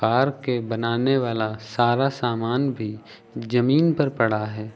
Car के बनाने वाला सारा सामान भी जमीन पर पड़ा है।